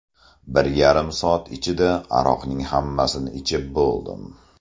Bir yarim soat ichida aroqning hammasini ichib bo‘ldim.